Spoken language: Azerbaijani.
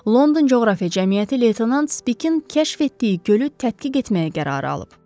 London coğrafiya cəmiyyəti Leytenant Spikin kəşf etdiyi gölü tədqiq etməyə qərar alıb.